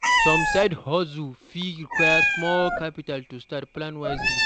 Some side-hustles fit require small capital to start; plan wisely.